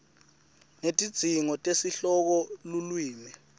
netidzingo tesihloko lulwimi